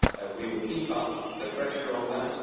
We will keep up the pressure on that.